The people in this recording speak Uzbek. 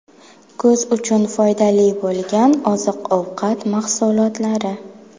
Ko‘z uchun foydali bo‘lgan oziq-ovqat mahsulotlari.